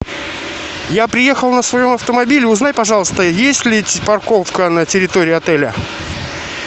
я приехал на своем автомобиле узнай пожалуйста есть ли парковка на территории отеля